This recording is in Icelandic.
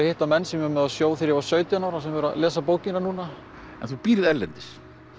hitti menn sem ég var með á sjó þegar ég var sautján ára sem eru að lesa bókina en þú býrð erlendis